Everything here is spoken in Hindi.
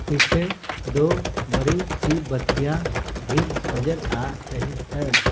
पीछे दो बड़ी सी बत्तियां भी नजर आ रही है।